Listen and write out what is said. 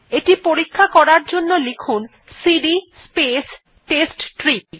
এটি পরীক্ষা করার জন্য লিখুন সিডি স্পেস টেস্টট্রি